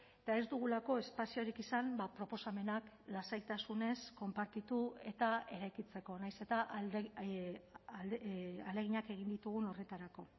eta ez dugulako espaziorik izan proposamenak lasaitasunez konpartitu eta eraikitzeko nahiz eta ahaleginak egin ditugun horretarako